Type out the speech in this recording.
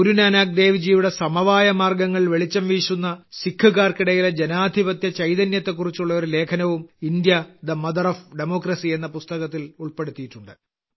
ഗുരു നാനാക്ക് ദേവ്ജിയുടെ സമവായ മാർഗ്ഗങ്ങൾ വെളിച്ചംവീശുന്ന സിഖുകാർക്കിടയിലെ ജനാധിപത്യ ചൈതന്യത്തെക്കുറിച്ചുള്ള ഒരു ലേഖനവും India the mother of democracy എന്ന പുസ്തകത്തിൽ ഉൾപ്പെടുത്തിയിട്ടുണ്ട്